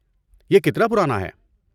یہ کتنا پرانا ہے؟